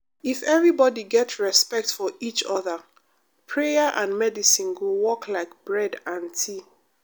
if everybody get respect for each other prayer and medicine go work like bread and tea.